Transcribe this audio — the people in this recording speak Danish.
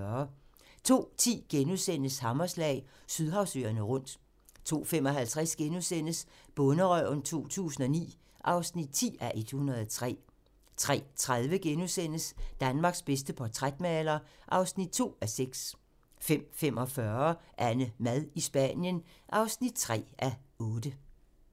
02:10: Hammerslag - Sydhavsøerne rundt * 02:55: Bonderøven 2009 (10:103)* 03:30: Danmarks bedste portrætmaler (2:6)* 05:45: AnneMad i Spanien (3:8)